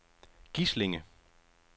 Gislinge